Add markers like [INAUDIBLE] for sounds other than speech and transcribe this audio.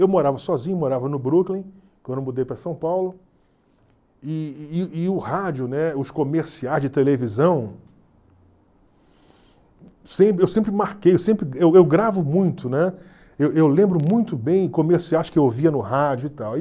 Eu morava sozinho, morava no Brooklyn, quando eu mudei para São Paulo, e e e o rádio, né os comerciais de televisão, [UNINTELLIGIBLE] eu sempre marquei, [UNINTELLIGIBLE] eu eu gravo muito, né, eu eu lembro muito bem comerciais que eu ouvia no rádio e tal.